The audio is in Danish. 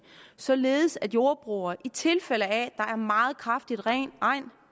således at jordbrugere i tilfælde af at er meget kraftig regn